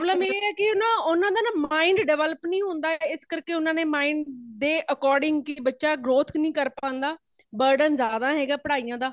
problem ਇਹ ਹੈ ਕੇ ,ਕੀ ਨਾ ਉਨ੍ਹਾਂ ਦਾ mind develop ਨਹੀਂ ਹੋਂਦ ਹੈ |ਤੇ ਇਸ ਕਾਰਕੇ ਊਨਾ ਨੇ mind ਦੇ according ਹੀ ਬੱਚਾ growth ਨਹੀਂ ਕਰ ਪਾਂਦਾ |burden ਜ਼ਯਾਦਾ ਹੈ ਪੜਾਈਆਂ ਦਾ